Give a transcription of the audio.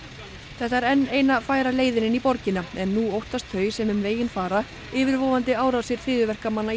þetta er enn eina færa leiðin inn í borgina en nú óttast þau sem um veginn fara yfirvofandi árásir hryðjuverkamanna